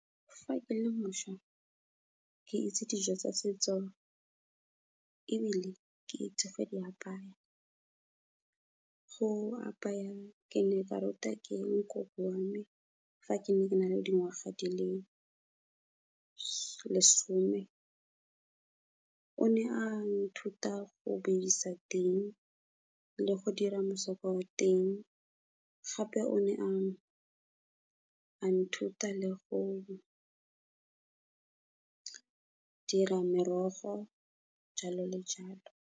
Fa ke le mošwa, ke itse dijo tsa setso ebile ke itse go di apaya. Go apaya ke ne ka ruta ke nkoko wa me, fa ke ne ke na le dingwaga di le lesome. O ne a nthuta go bidisa ting, le go dira mosoko wa mo teng, gape o ne ang nthuta le go dira merogo, jalo le jalo.